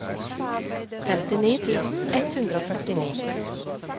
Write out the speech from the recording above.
femtini tusen ett hundre og førtini